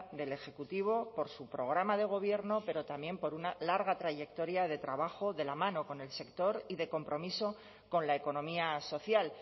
del ejecutivo por su programa de gobierno pero también por una larga trayectoria de trabajo de la mano con el sector y de compromiso con la economía social